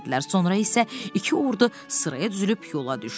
Sonra isə iki ordu sıraya düzülüb yola düşdü.